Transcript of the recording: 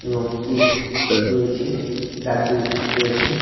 এবং কেক রয়েছে লাড্ডু রয়েছে।